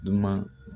Dunuman